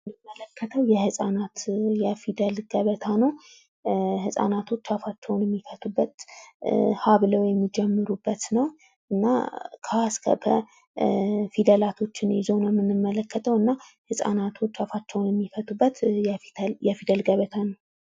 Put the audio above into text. በምስሉ ላይ የምንመለከተው የህጻናት የፊደል ገበታ ነው ፤ ህጻናቶች አፋቸዉን የሚፈቱበት ሀ ብለው የሚጀምሩበት ነው ፤ እና ከ ሀ እስከ ፐ ፊደላትን ይዞ ነው የምንመለከተው እና ህጻናቶች አፋቸውን የሚፈቱበት የፊደል ገበታ ነው።